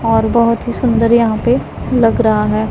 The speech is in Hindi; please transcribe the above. और बहोत ही सुंदर यहां पे लग रहा है।